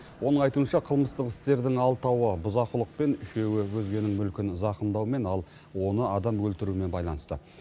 оның айтуынша қылмыстық істердің алтауы бұзақылықпен үшеуі өзгенің мүлкін зақымдаумен ал оны адам өлтірумен байланысты